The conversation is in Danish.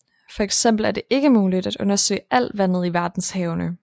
For eksempel er det ikke muligt at undersøge alt vandet i verdenshavene